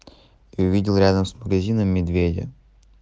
увидел рядом с магазином медведя